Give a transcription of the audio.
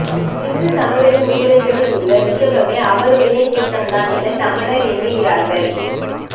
சிந்துசமவெளி முத்திரைகளில் உள்ல ரிஷபமே அவருடைய சின்னம்தான் என சமணர் எண்ணுகிறார்கள்